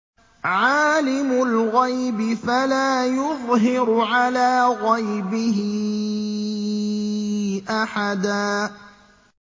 عَالِمُ الْغَيْبِ فَلَا يُظْهِرُ عَلَىٰ غَيْبِهِ أَحَدًا